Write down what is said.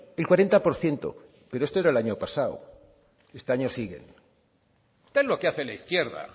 el cuarenta por ciento pero esto era el año pasado este año siguen ten lo que hace la izquierda